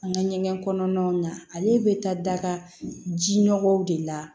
An ka ɲɛgɛn kɔnɔnaw na ale bɛ taa daga ji nɔgɔw de la